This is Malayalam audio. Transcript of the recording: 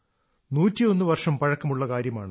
നൂറ്റി ഒന്നു വർഷം പഴക്കമുള്ള കാര്യമാണ്